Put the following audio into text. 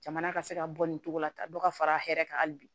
Jamana ka se ka bɔ nin cogo la tan dɔ ka fara hɛrɛ kan hali bi